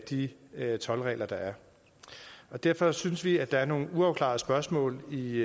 de toldregler der er derfor synes vi at der er nogle uafklarede spørgsmål i